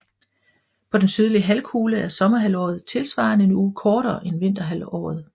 På den sydlige halvkugle er sommerhalvåret tilsvarende en uge kortere end vinterhalvåret